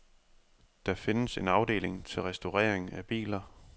Der findes en afdeling til restaurering af biler.